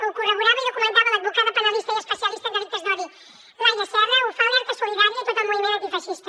ho corroborava i documentava l’advocada penalista i especialista en delictes d’odi laia serra ho fa alerta solidària i tot el moviment antifeixista